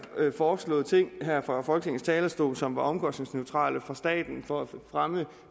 foreslået ting her fra folketingets talerstol som var omkostningsneutrale for staten for at fremme